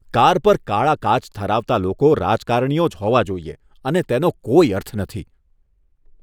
Car પર કાળા કાચ ધરાવતા લોકો રાજકારણીઓ જ હોવા જોઈએ અને તેનો કોઈ અર્થ નથી.